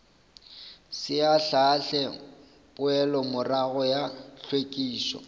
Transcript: se ahlaahle poelomorago ya hlwekišo